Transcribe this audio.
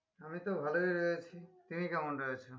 আমি তো ভালোই রয়েছি তুমি কেমন রয়েছো?